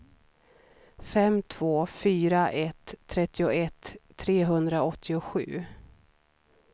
fem två fyra ett trettioett trehundraåttiosju